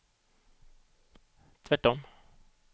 tvärtom